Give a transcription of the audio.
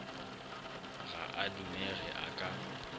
ga a dumege a ka